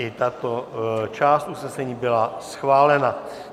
I tato část usnesení byla schválena.